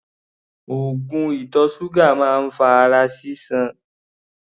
Oògùn ìtọ̀ ṣúgà máa ń fa ara sísan.